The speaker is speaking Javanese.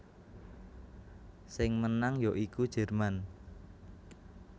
Sing menang ya iku Jerman